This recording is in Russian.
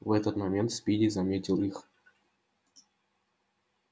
в этот момент спиди заметил их